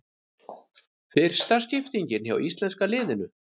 Fyrsta skiptingin hjá íslenska liðinu